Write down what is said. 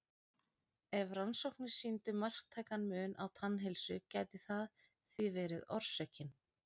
Ef rannsóknir sýndu marktækan mun á tannheilsu gæti það því verið orsökin.